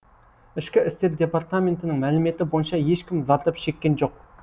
ішкі істер департаментінің мәліметі бойынша ешкім зардап шеккен жоқ